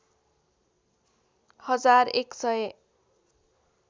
हजार एक सय